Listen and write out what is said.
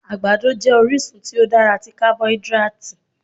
Àgbàdo jẹ́ orísun tí ó dára tí carboidratì.